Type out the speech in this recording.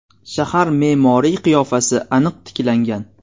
Shahar me’moriy qiyofasi aniq tiklangan.